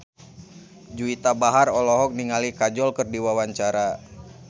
Juwita Bahar olohok ningali Kajol keur diwawancara